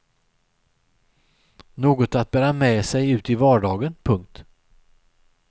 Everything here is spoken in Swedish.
Något att bära med sig ut i vardagen. punkt